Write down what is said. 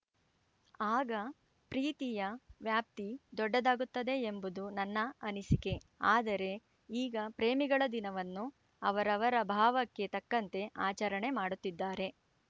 ಆಗ ಪ್ರೀತಿಯ ವ್ಯಾಪ್ತಿ ದೊಡ್ಡದಾಗುತ್ತದೆ ಎಂಬುದು ನನ್ನ ಅನಿಸಿಕೆ ಆದರೆ ಈಗ ಪ್ರೇಮಿಗಳ ದಿನವನ್ನು ಅವರವರ ಭಾವಕ್ಕೆ ತಕ್ಕಂತೆ ಆಚರಣೆ ಮಾಡುತ್ತಿದ್ದಾರೆ